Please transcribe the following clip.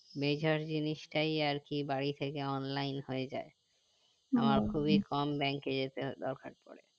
major জিনিস টাই আরকি বাড়ি থেকে online হয়ে যাই আমার খুবই কম bank এ যেতে দরকার পরে